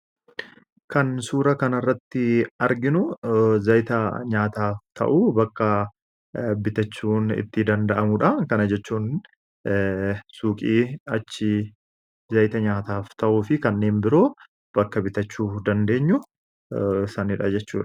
Kan suura kana irratti arginu zayita nyaataaf ta'uu bakka bitachuun itti danda'amudha. Kana jechuun suuqii achii zayita nyaataaf ta'uu fi kanneen biroo bakka bitachuu dandeenyu jechudha.